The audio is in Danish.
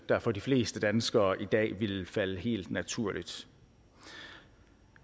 der for de fleste danskere i dag ville falde helt naturligt